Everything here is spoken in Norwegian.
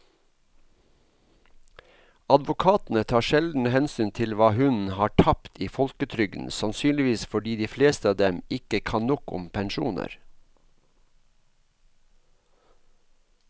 Advokatene tar sjelden hensyn til hva hun har tapt i folketrygden, sannsynligvis fordi de fleste av dem ikke kan nok om pensjoner.